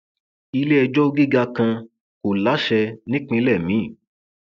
iléẹjọ gíga kan kò láṣẹ nípínlẹ miín